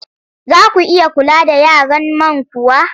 Za ku iya kula da yaran man kuwa?